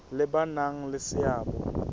le ba nang le seabo